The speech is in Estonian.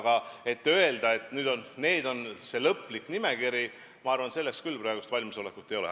Aga öelda, et see on lõplik nimekiri – selleks küll praegu valmisolekut ei ole.